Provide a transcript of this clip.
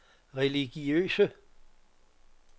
religiøse